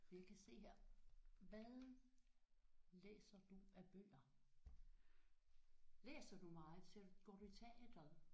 Jeg kan se her hvad læser du af bøger? Læser du meget selv? Går du i teatret?